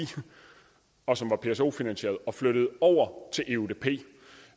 og som var pso finansieret og flyttede det over til eudp det